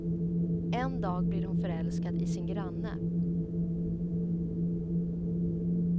En dag blir hon förälskad i sin granne.